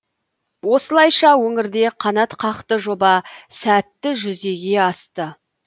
осылайша өңірде қанатқақты жоба сәтті жүзеге асты